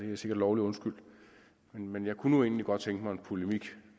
er sikkert lovlig undskyldt men jeg kunne egentlig godt tænke mig en polemik